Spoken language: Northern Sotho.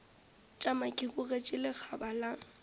tšama ke bogetše lekgaba la